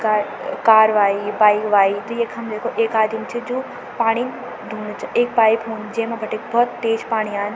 Car car वाई bike वाई त यखम देखो एक आदिम च जू पाणी धूणु च एक पाइप हुन्द जेमा बटे भोत तेज पाणी आंद।